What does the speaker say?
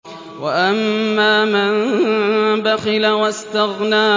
وَأَمَّا مَن بَخِلَ وَاسْتَغْنَىٰ